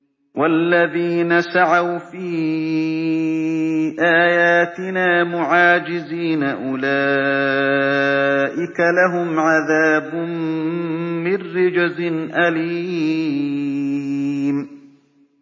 وَالَّذِينَ سَعَوْا فِي آيَاتِنَا مُعَاجِزِينَ أُولَٰئِكَ لَهُمْ عَذَابٌ مِّن رِّجْزٍ أَلِيمٌ